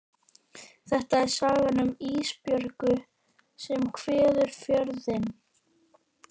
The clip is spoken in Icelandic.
Þetta er sagan um Ísbjörgu sem kveður Fjörðinn.